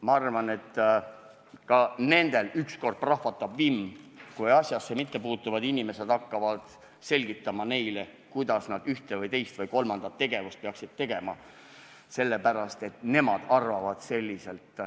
Ma arvan, et ka nendel ükskord prahvatab vimm, kui asjasse mittepuutuvad inimesed hakkavad neile selgitama, kuidas nad ühte või teist või kolmandat asja peaksid tegema, sellepärast, et nemad arvavad nii.